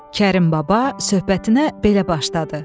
Kərim baba söhbətinə belə başladı.